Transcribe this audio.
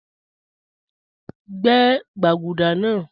Gbẹ̀ gbagúdà naa